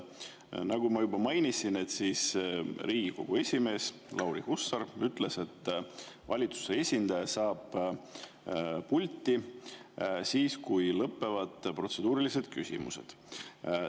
Nagu ma juba mainisin, siis Riigikogu esimees Lauri Hussar ütles, et valitsuse esindaja saab pulti siis, kui lõpevad protseduurilised küsimused.